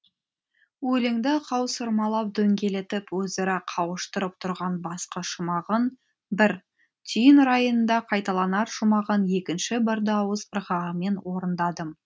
өлеңді қаусырмалап дөңгелетіп өзара қауыштырып тұрған басқы шумағын бір түйін райында қайталанар шумағын екінші бір дауыс ырғағымен орындадым